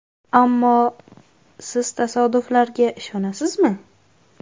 Ammo (siz tasodiflarga ishonasizmi?)